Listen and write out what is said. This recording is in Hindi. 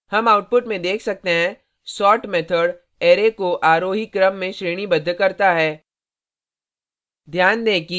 हम output में देख सकते हैं sort method array को आरोही क्रम में श्रेणीबद्ध करता है